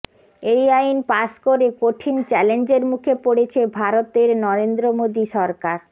এই আইন পাশ করে কঠিন চ্যালেঞ্জের মুখে পড়েছে ভারতের নরেন্দ্র মোদি সরকার